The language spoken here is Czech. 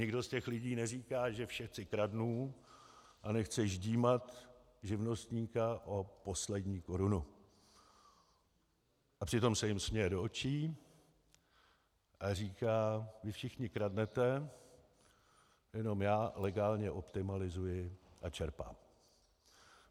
Nikdo z těch lidí neříká, že všetci kradnú, a nechce ždímat živnostníka o poslední korunu, a přitom se jim směje do očí a říká: vy všichni kradnete, jenom já legálně optimalizuji a čerpám.